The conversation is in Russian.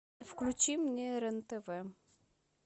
включи мне рен тв